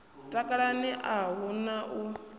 takalani a hu na u